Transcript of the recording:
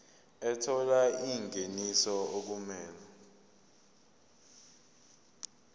ethola ingeniso okumele